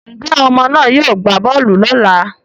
Njẹ́ àwọn ọmọ náà yóò gbá bọọlù lọ́ la?